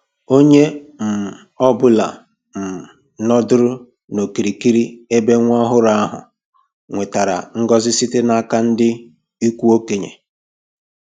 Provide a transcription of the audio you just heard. Onye um ọ bụla um nọdụrụ n'okirikiri ebe nwa ọhụrụ ahụ nwetara ngọzi site n'aka ndị ikwu okenye.